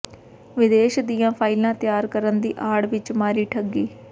ਵਿਦੇਸ਼ ਦੀਆਂ ਫਾਈਲਾਂ ਤਿਆਰ ਕਰਨ ਦੀ ਆੜ ਵਿੱਚ ਮਾਰੀ ਠੱਗੀ